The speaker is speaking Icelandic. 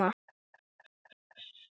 Nei er svarið.